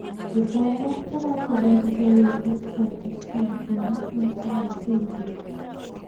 Gĩthomo kĩratũbundithia wĩgiĩ ihooto cia marĩa matũrigicĩirie.